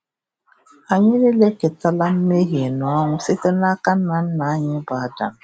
Anyị nile eketala mmehie na ọnwụ site n’aka nna nna anyị bụ Adam.